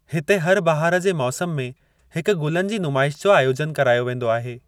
हिते हर बहार जे मौसम में हिकु गुलनि जी नुमाइश जो आयोजन करायो वेंदो आहे।